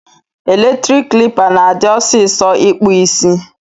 Eletrik klipa na adi ọsisọ ikpụ isi.